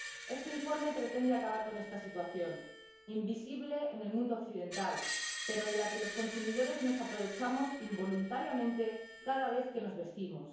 Este informe pretende acabar con esta situación, invisible en el mundo occidental, pero de la que los consumidores nos aprovechamos involuntariamente cada vez que nos vestimos.